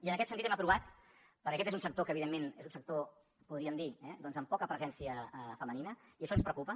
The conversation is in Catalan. i en aquest sentit hem aprovat perquè aquest és un sector que evidentment és un sector podríem dir eh doncs amb poca presència femenina i això ens preocupa